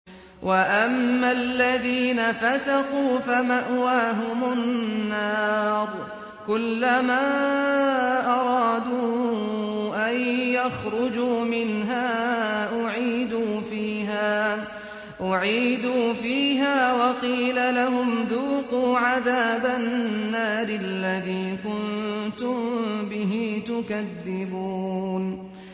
وَأَمَّا الَّذِينَ فَسَقُوا فَمَأْوَاهُمُ النَّارُ ۖ كُلَّمَا أَرَادُوا أَن يَخْرُجُوا مِنْهَا أُعِيدُوا فِيهَا وَقِيلَ لَهُمْ ذُوقُوا عَذَابَ النَّارِ الَّذِي كُنتُم بِهِ تُكَذِّبُونَ